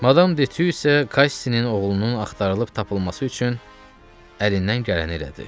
Madam Deti isə Kasisinin oğlunun axtarılıb tapılması üçün əlindən gələni elədi.